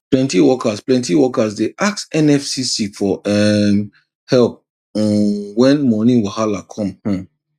plenty workers plenty workers dey ask nfcc for um help um when money wahala come um